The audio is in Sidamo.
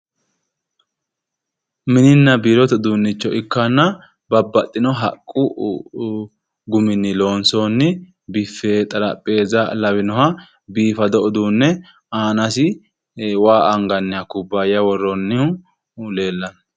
Mininna mini uduunnicho ikkanna babbaxxinoha haqqu guminni loonsoonniha biffe xarappeessa lawinoha biifado uduunne aanasi waa anganniha kubbaaya woroonniha leellanno.